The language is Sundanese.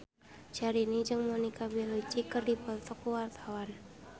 Syahrini jeung Monica Belluci keur dipoto ku wartawan